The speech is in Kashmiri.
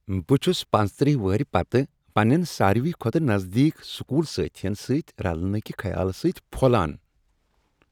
بہٕ چُھس پنژٔتٕرہ وری پتہٕ پننین ساروٕے کھوتہٕ نزدیک سکول سٲتھین سۭتۍ رلنہٕ کہ خیالہٕ سۭتی پھۄلان۔